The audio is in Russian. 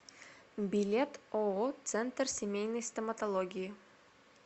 билет ооо центр семейной стоматологии